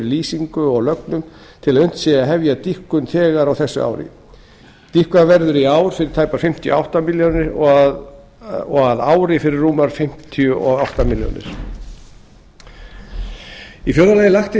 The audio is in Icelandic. lýsingu og lögnum til að unnt sé að hefja dýpkun þegar á þessu ári dýpkað verður í ár fyrir tæpar fimmtíu og átta milljónir króna og að ári fyrir rúmar fimmtíu og átta milljónir króna fjórða lagt er til